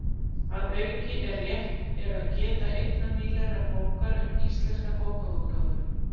Að auki er rétt er að geta einnar nýlegrar bókar um íslenska bókaútgáfu: